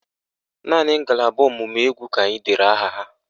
Naanị ngalaba ọ̀mụ̀mụ̀ égwú ka anyị dere aha ha